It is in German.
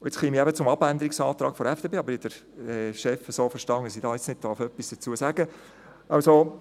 Ich käme jetzt zum Abänderungsantrag der SVP, aber ich habe den Chef so verstanden, dass ich jetzt nichts dazu sagen darf.